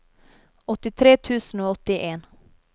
åttitre tusen og åttien